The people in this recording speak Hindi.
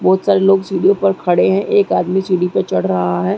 बहूत सारे लोग सीढ़ी पर खड़े है एक आदमी सीढ़ी पर चढ़ रहा है ।